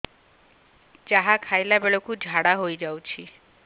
ଯାହା ଖାଇଲା ବେଳକୁ ଝାଡ଼ା ହୋଇ ଯାଉଛି